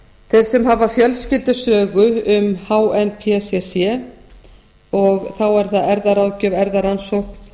þeir sem hafa fjölskyldusögu um hnpcc og þá er það erfðaráðgjöf erfðarannsókn